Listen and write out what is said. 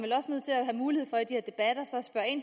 have mulighed for i de at det